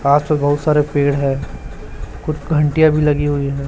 बहुत सारे पेड़ है कुछ घंटियां भी लगी हुई है।